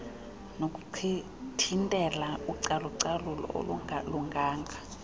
nokuthintela ucalucalulo olungalunganga